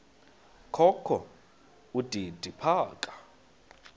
kokho udidi phaka